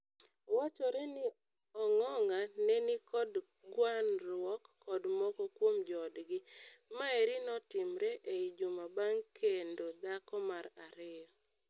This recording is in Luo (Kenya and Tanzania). Wachore ni Ong'ong'a neni kod gwanruok kod moko kuom joodgi. Maeri notimre ei juma bang kendo dhako mar ario.